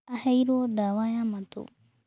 Aheirwo ndawa ya matũ.